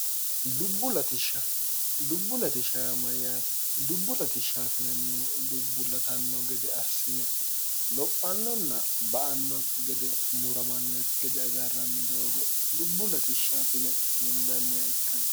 ddubbu ltsshmayyaati dubbu latishshtinnnihu dubbullatanno gede assine lophannonna ba annokki gede muramannokki gede awirarranni doogo dubbu ltshshtine hindanniha ikkanni